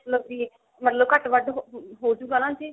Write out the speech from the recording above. ਮਤਲਬ ਕੀ ਮਤਲਬ ਘੱਟ ਵੱਧ ਹੋਜੂਗਾ ਨਾ ਜੀ